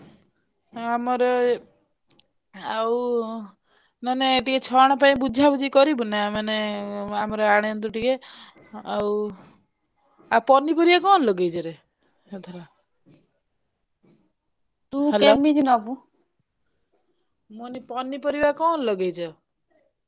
ଆମର ଏଇ ଆଉ ମାନେ ଟିକେ ଛଣ ପାଇଁ ବୁଝା ବୁଝି କରିବୁ ନା ମାନେ ଆମର ଆଣନ୍ତୁ ଟିକେ ଆଉ ପନିପରିବା କଣ ଲଗେଇଛ ରେ ଏଥର ମୁଁ କହିଲି ପନିପରିବା କଣ ଲଗେଇଛ?